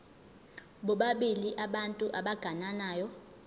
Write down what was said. bobabili abantu abagananayo